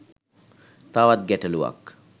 තවත් ගැටළුවක්.